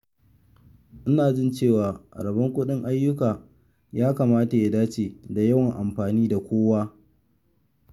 Ina jin cewa rabon kuɗin ayyuka ya kamata ya dace da yawan amfani da kowa.